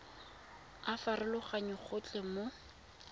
a farologana go tloga mo